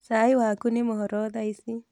Cai waku nĩ mũhoro thaa ici